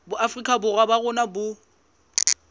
boafrika borwa ba rona bo